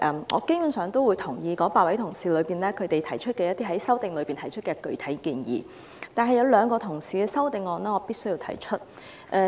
我基本上贊同8位同事在修正案中提出的具體建議，但我必須談談兩位同事的修正案。